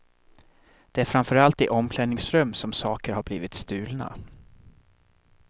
Det är framför allt i omklädningsrum som saker har blivit stulna.